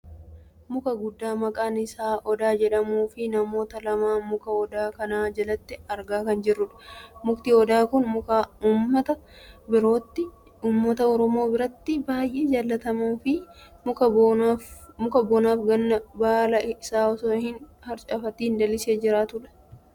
Muka guddaa maqaan isaa odaa jedhamuufi namoota lama muka odaa kana jalatti argaa kan jirrudha. Mukti odaa kun muka uumata oromoo biratti baay'ee jaalatamuufi muka bonaaf ganna baala isaa otoo hin harcaafatiin lalisee jiraatudha.